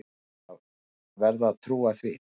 Júlía varð að trúa því.